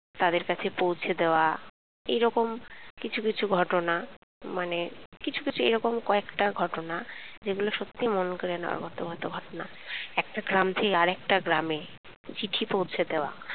তাদের কাছে পৌঁছে দেওয়া এরকম কিছু কিছু ঘটনা মানে কিছু কিছু এরকম কয়েকটা ঘটনা সেগুলো সত্যি মন কেড়ে নেওয়ার মতো ঘটনা একটা গ্রাম থেকে আরেকটা গ্রামে চিঠি পৌঁছে দেওয়া